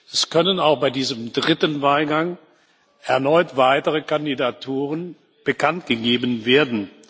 Es können auch bei diesem dritten Wahlgang erneut weitere Kandidaturen bekanntgegeben werden.